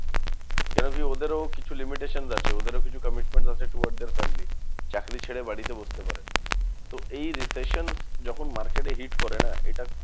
কেন কি? ওদেরও কিছু limitation আছে ওদেরও কিছু commitment আছে towards their family. চাকরি ছেড়ে বাড়িতে বসতে পারে না তো এই recession যখন market এ hit করে না? এটা